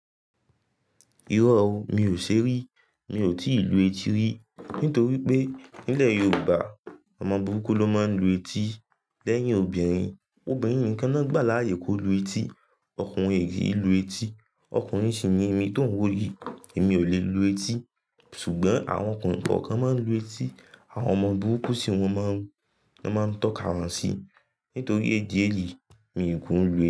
Irọ́ o, mi ò ṣe rí. Mi ò tí ì lu etí rí. Nítorí pé nílẹ̀ Yorùbá, ọmọ burúkú ló máa ń lu etí. Lẹ́yìn obìnrin, obìnrin nìkan náà gbà láyè kó lu etí. Okùnrin ò ki n lu etí. Okùnrin sì ni èmi tó ń wò yí. Èmi ò lè lu etí. Ṣùgbọ́n àwọn ọkùnrin kọ̀ọ̀kan máa ń lu etí. Àwọn ọmọ burúkú sì wọ́n máa ń, máa ń tọ́ka wọn sí. Nítorí ìdí èyí míì ku lu etí.